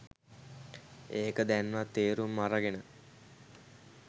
එක දැන්වත් තේරුම් අරගෙන